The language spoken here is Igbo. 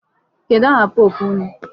Kedụ aha pope unu?